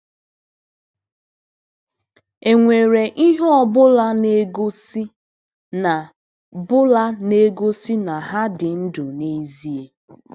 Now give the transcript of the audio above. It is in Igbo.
E nwere ihe ọ bụla na-egosi na bụla na-egosi na ha dị ndụ n'ezie?